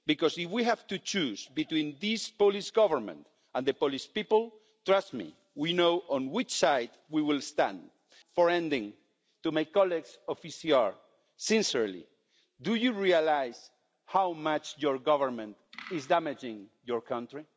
If we have to choose between this Polish Government and the Polish people, trust me we know on which side we will stand. To conclude, to my colleagues in the ECR Group sincerely, do you realise how much your government is damaging your country?